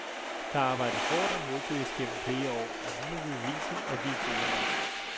Der er arbejdet hårdt og målbevidst gennem flere år, og nu må vi bevise, at vi er gode nok.